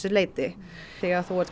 leiti þegar þú ert